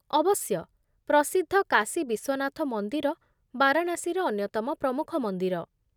ଅବଶ୍ୟ। ପ୍ରସିଦ୍ଧ କାଶୀ ବିଶ୍ୱନାଥ ମନ୍ଦିର ବାରାଣାସୀର ଅନ୍ୟତମ ପ୍ରମୁଖ ମନ୍ଦିର।